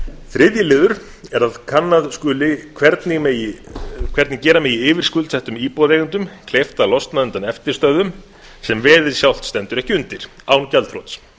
þriðji liður er að kannað skuli hvernig gera megi yfirskuldsettum íbúðareigendum kleift að losna undan eftirstöðvum sem veðið sjálft stendur ekki undir án gjaldþrots